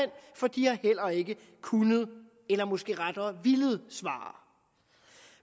for de har heller ikke kunnet eller måske rettere villet svare